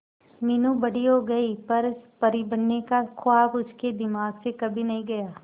मीनू बड़ी हो गई पर परी बनने का ख्वाब उसके दिमाग से कभी नहीं गया